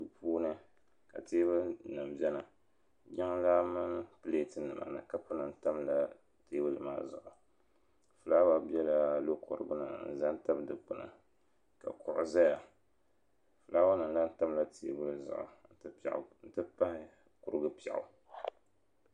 duu puuni ka teebuli nim biɛni jiŋlaa mini pilɛt nima ni kapu nima tamla teebuli maa zuɣu fulaawa biɛla logorigu ni ha n ʒɛya tabi dikpuni ka kuɣu ʒɛya fulaawa nim lahi tamla teebuli zuɣu n ti pahi kurugu piɛɣu